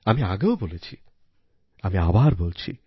আমি আগেও বলেছিআমি আবার বলছি